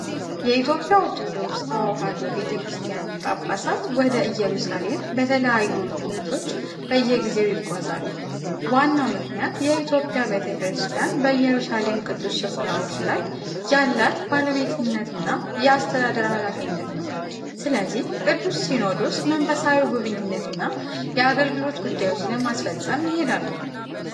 የኢትዮጵያ ኦርቶዶክስ ተዋሕዶ ቤተ ክርስቲያን ጳጳሳት ወደ ኢየሩሳሌም በተለያዩ ምክንያቶች በየጊዜው ይጓዛሉ። ዋናው ምክንያት የኢትዮጵያ ቤተ ክርስቲያን በኢየሩሳሌም ቅዱስ ስፍራዎች ላይ ያላት ባለቤትነትና የአስተዳደር ኃላፊነት ነው። ስለዚህ፣ ቅዱስ ሲኖዶሱ መንፈሳዊ ጉብኝትና የአገልግሎት ጉዳዮች ለማስፈጸም ይሄዳሉ።